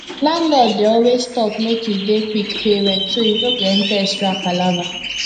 landlord dey always talk make you dey quick pay rent so you no go enter extra palava